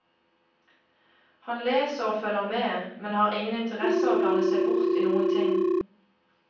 Han leser og følger med, men har ingen interesse av å blande seg bort i noen ting.